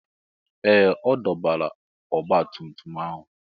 Ee! Ọ dọbala ọgbatumtum ahụ.